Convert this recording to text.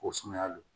Ko sumaya lo